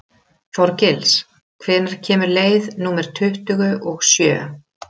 Þorgils, hvenær kemur leið númer tuttugu og sjö?